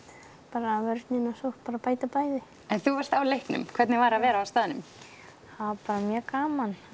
bara vörnin og sókn bara bæta bæði en þú varst á leiknum hvernig var að vera á staðnum það var mjög gaman